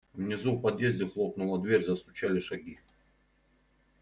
внизу в подъезде хлопнула дверь застучали шаги